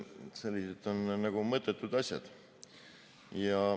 Need on mõttetud asjad.